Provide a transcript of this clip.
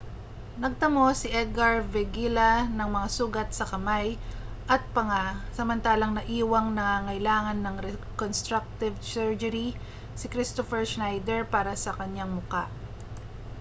nagtamo si edgar veguilla ng mga sugat sa kamay at panga samantalang naiwang nangangailangan ng reconstructive surgery si kristoffer schneider para sa kanyang mukha